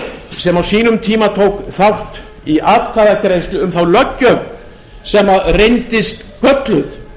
sem á sínum tíma tók þátt í atkvæðagreiðslu um þá löggjöf sem reyndist gölluð